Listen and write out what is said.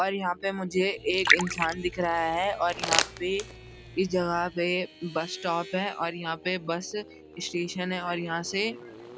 और यहाँ पे मुझे एक इंसान दिख रहा है और यहाँ पे इस जगह पे बस स्‍टॉप है और यहाँ पे बस स्‍टेशन है और यहाँ से